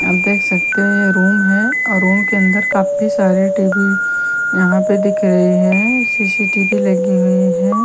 हम देख सकते हैं रूम है और रूम के अंदर काफी सारे टेबल यहां पे दिख रहे हैं सी_सी_टी_वी लगी हुई हैं।